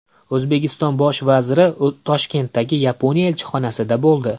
O‘zbekiston Bosh vaziri Toshkentdagi Yaponiya elchixonasida bo‘ldi.